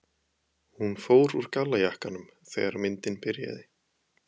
Hún fór úr gallajakkanum þegar myndin byrjaði.